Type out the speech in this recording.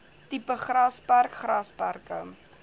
tipe grasperk grasperke